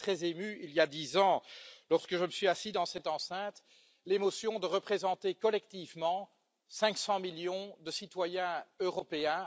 J'étais très ému, il y a dix ans, lorsque je me suis assis dans cette enceinte, l'émotion de représenter collectivement 500 millions de citoyens européens.